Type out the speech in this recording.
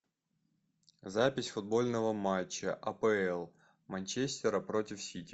запись футбольного матча апл манчестера против сити